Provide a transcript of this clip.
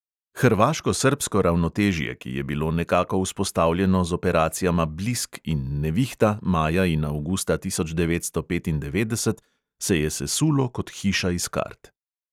Hrvaško-srbsko ravnotežje, ki je bilo nekako vzpostavljeno z operacijama blisk in nevihta maja in avgusta tisoč devetsto petindevetdeset, se je sesulo kot hiša iz kart.